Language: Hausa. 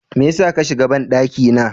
Mai yasa kashiga banɗaki na?